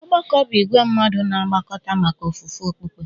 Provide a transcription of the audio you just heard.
Ọgbakọ bụ ìgwè mmadụ na-agbakọta maka ofufe okpukpe